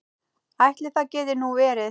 Ætli það geti nú verið.